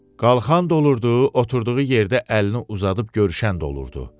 Qalxan da olurdu, oturduğu yerdə əlini uzadıb görüşən də olurdu.